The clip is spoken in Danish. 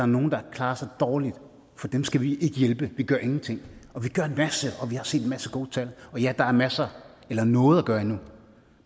nogle der klarer sig dårligt for dem skal vi ikke hjælpe vi gør ingenting vi har set en masse gode tal og ja der er masser eller noget at gøre endnu